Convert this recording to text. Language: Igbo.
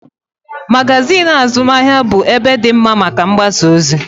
Magazin azụmahịa bụ ebe dị mma maka mgbasaozi